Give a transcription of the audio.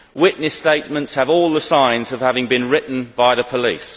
Witness statements have all the signs of having been written by the police.